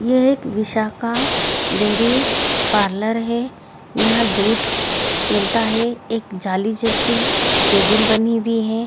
यह एक Vishakha dairy parlour है यहाँ दूध मिलता है एक जाली जैसी केबिन बनी हुई है ।